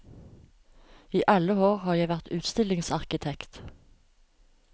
I alle år har jeg vært utstillingsarkitekt.